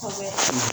Kosɛbɛ